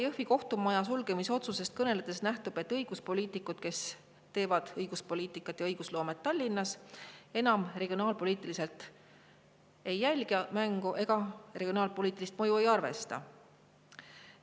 Jõhvi kohtumaja sulgemise otsusest kõneledes nähtub, et, kes teevad õiguspoliitikat ja õigusloomet Tallinnas, regionaalpoliitiliselt enam mängu ei jälgi, regionaalpoliitilist mõju ei arvesta.